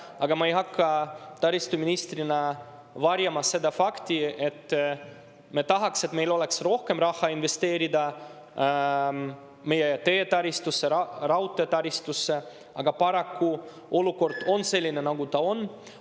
Aga ma ei hakka taristuministrina varjama seda fakti, et me tahaks, et meil oleks rohkem raha investeerida meie teetaristusse, raudteetaristusse, kuid paraku olukord on selline, nagu ta on.